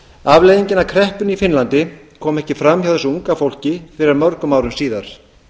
afleiðingin af kreppunni í finnlandi kom ekki fram hjá þessu unga fólki fyrr en mörgum árum síðar